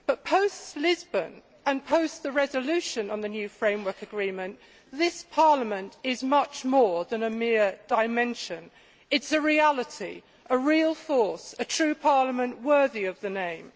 Post Lisbon, and post the resolution on the new Framework Agreement, this Parliament is much more than a mere dimension' it is a reality, a real force, a true parliament worthy of the name.